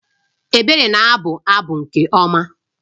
Ebere na-abụ abụ nke ọma